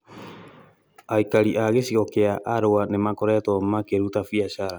Aikari a gĩcigo kĩa Arua nĩmakoretwo makĩruta biacara